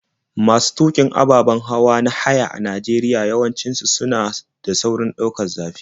Masu tuƙin ababen hawa na haya a Najeriya yawanci suna da saurin ɗaukar zafi.